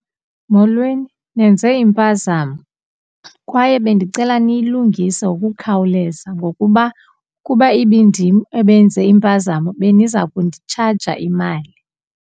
Molweni, nenze impazamo kwaye bendicela niyilungise ngokukhawuleza ngokuba ukuba ibindim ebenze impazamo beniza kunditshaja imali.